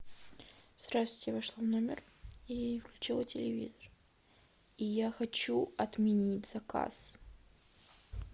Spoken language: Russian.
здравствуйте вошла в номер и включила телевизор и я хочу отменить заказ